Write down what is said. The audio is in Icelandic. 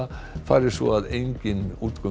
fari svo að enginn